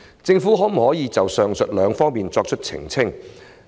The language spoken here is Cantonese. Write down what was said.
政府可否就上述兩方面作出澄清？